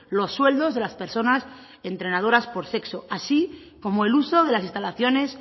los sueldos de las personas entrenadoras por sexo así como el uso de las instalaciones